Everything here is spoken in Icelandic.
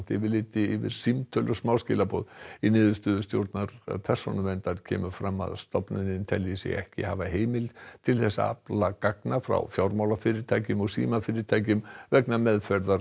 yfirliti yfir símtöl og smáskilaboð í niðurstöðu stjórnar Persónuverndar kemur fram að stofnunin telji sig ekki hafa heimild til að afla gagna frá fjármálafyrirtækjum og símafyrirtækjum vegna meðferðar